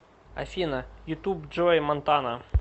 афина ютуб джой монтана